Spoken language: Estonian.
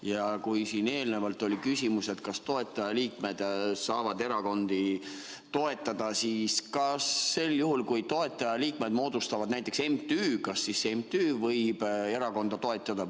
Ja kui siin eelnevalt oli küsimus, kas toetajaliikmed saavad erakondi toetada, siis kas sel juhul, kui toetajaliikmed moodustavad näiteks MTÜ, kas siis MTÜ võib erakonda toetada?